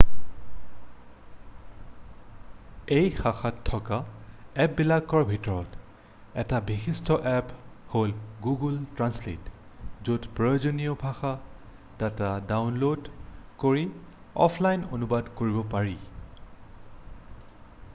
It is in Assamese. এই শাখাত থকা এপ্পবিলাকৰ ভিতৰত এটা বিশিষ্ট এপ্প হ'ল গুগুল ট্ৰেন্সলেট য'ত প্ৰয়োজনীয় ভাষা ডাটা ডাউনল'ড কৰি অফলাইন অনুবাদ কৰিব পাৰি